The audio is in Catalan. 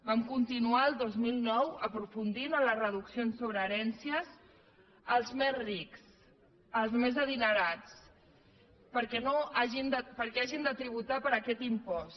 vam continuar el dos mil nou aprofundint en les reduccions sobre herències als més rics als més adinerats perquè hagin de tributar per aquest impost